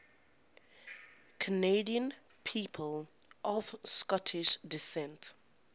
canadian people of scottish descent